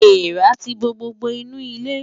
Èèrà ti bo gbogbo inú ilé.